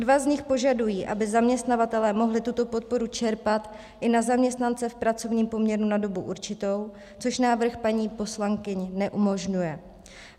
Dva z nich požadují, aby zaměstnavatelé mohli tuto podporu čerpat i na zaměstnance v pracovním poměru na dobu určitou, což návrh paní poslankyň neumožňuje.